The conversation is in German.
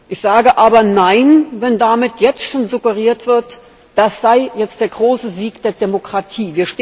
Ich sage aber Nein, wenn damit jetzt schon suggeriert wird, das sei jetzt der große Sieg der Demokratie.